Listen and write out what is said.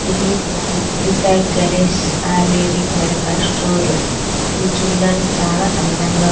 ఇది Shri Sai Ganesh ayurvedic medical store ఇది చూడడానికి చాలా అందంగా.